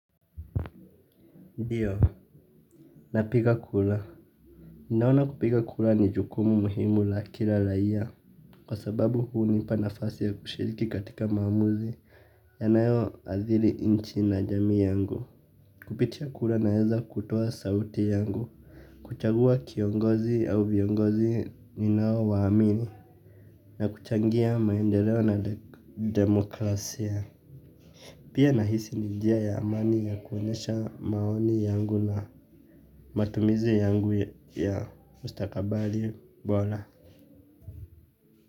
Ndiyo, napiga kura. Ninaona kupiga kura ni jukumu muhimu la kila raia. Kwa sababu hunipa nafasi ya kushiriki katika maamuzi yanayoathiri nchi na jamii yangu. Kupitia kura naweza kutoa sauti yangu. Kuchagua kiongozi au viongozi ninaowaamini. Na kuchangia maendeleo na demokrasia. Pia nahisi ni njia ya amani ya kuonyesha maoni yangu na matumizi yangu ya mustakabali bora.